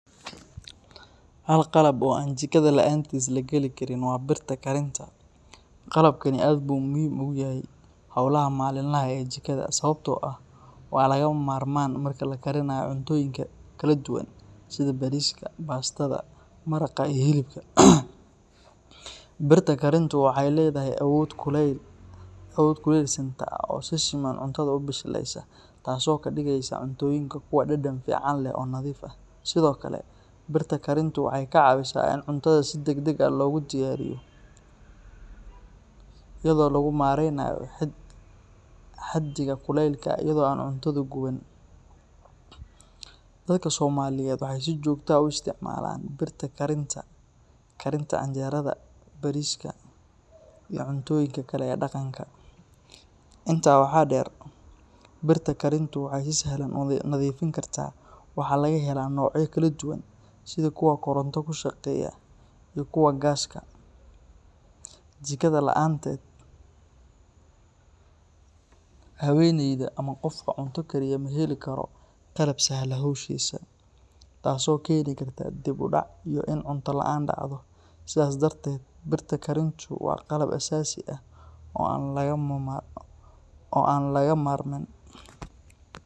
Hal qalab oo aan jikada la’aantiis la gali karin waa birta karinta. Qalabkani aad buu muhiim ugu yahay howlaha maalinlaha ah ee jikada, sababtoo ah waa lagama maarmaan marka la karinayo cuntooyinka kala duwan sida bariiska, baastada, maraqa, iyo hilibka. Birta karintu waxay leedahay awood kulayl siinta ah oo si siman cuntada u bisleeysa, taasoo ka dhigeysa cuntooyinka kuwo dhadhan fiican leh oo nadiif ah. Sidoo kale, birta karintu waxay kaa caawisaa in cuntada si degdeg ah loogu diyaariyo, iyadoo lagu maareynayo xaddiga kulaylka iyadoo aan cuntadu guban. Dadka Soomaaliyeed waxay si joogto ah ugu isticmaalaan birta karinta karinta canjeerada, bariiska, iyo cuntooyinka kale ee dhaqanka. Intaa waxaa dheer, birta karintu waxay si sahlan u nadiifin kartaa waxaana laga helaa noocyo kala duwan sida kuwa koronto ku shaqeeya iyo kuwa gaaska. Jikada la’aanteed, haweeneyda ama qofka cunto kariya ma heli karo qalab sahla hawshiisa, taasoo keeni karta dib u dhac iyo in cunto la’aan dhacdo. Sidaas darteed, birta karintu waa qalab aasaasi ah oo aan laga maarmin.